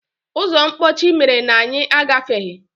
Ụzọ mkpọchi mere na anyị agafeghị.